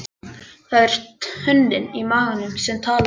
Það er tönnin í maganum sem talar.